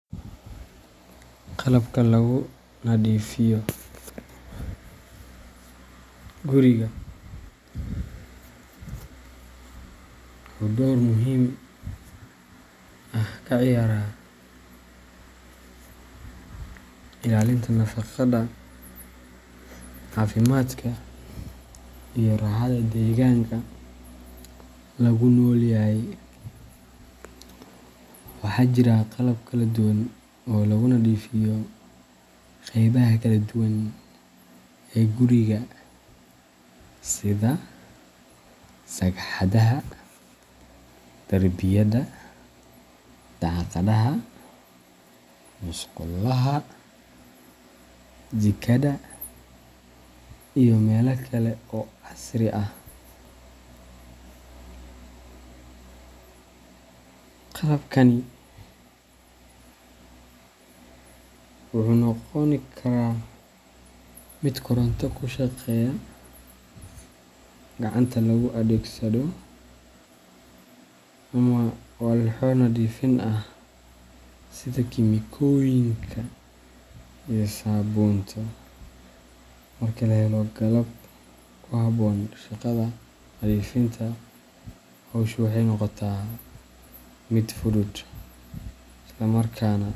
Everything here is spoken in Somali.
Qalabka lagu nadiifiyo guriga wuxuu door muhiim ah ka ciyaaraa ilaalinta nadaafadda, caafimaadka, iyo raaxada deegaanka lagu nool yahay. Waxaa jira qalab kala duwan oo lagu nadiifiyo qaybaha kala duwan ee guriga sida sagxadaha, derbiyada, daaqadaha, musqulaha, jikada, iyo meelo kale oo casri ah. Qalabkani wuxuu noqon karaa mid koronto ku shaqeeya, gacanta lagu adeegsado, ama walxo nadiifin ah sida kiimikooyinka iyo saabuunta. Marka la helo qalab ku habboon shaqada nadiifinta, hawshu waxay noqotaa mid fudud, isla markaana.